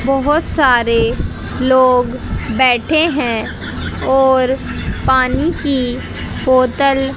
बहोत सारे लोग बैठे हैं और पानी की बोतल--